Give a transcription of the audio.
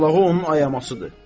Lağlağı onun ayamasıdır.